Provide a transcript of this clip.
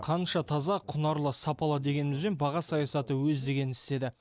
қанша таза құнарлы сапалы дегенімізбен баға саясаты өз дегенін істеді